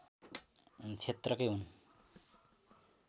क्षेत्रकै हुन्